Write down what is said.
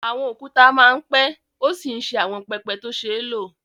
Àwọn òkúta máa ń pẹ́ ó sì ń ṣe àwọn pẹpẹ tó ṣe é lò